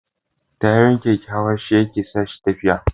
Tayoyin keken hawa shi yake sa shi tafiya